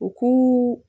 U k'u